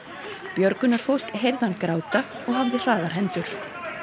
björgunarfólk heyrði hann gráta og hafði hraðar hendur